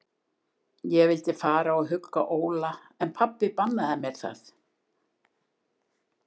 Ég vildi fara og hugga Óla, en pabbi bannaði mér það.